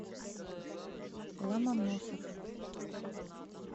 ломоносов